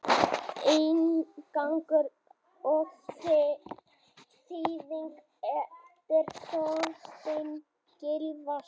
Inngangur og þýðing eftir Þorstein Gylfason.